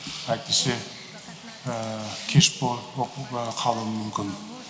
әйтпесе кеш боп қалуы мүмкін